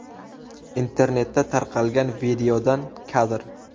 Internetda tarqalgan videodan kadr.